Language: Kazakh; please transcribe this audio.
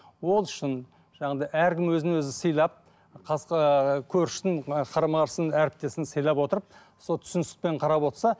ол шын жаңағыдай әркім өзін өзі сыйлап ыыы көршінің ы қарама қарсыны әріптесін сыйлап отырып сол түсіністікпен қарап отырса